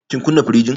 Kin kunna firinjin?